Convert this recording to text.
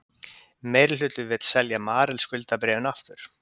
Meirihluti vill selja Marel skuldabréfin aftur